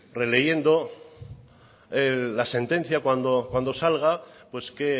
releyendo la sentencia cuando salga pues que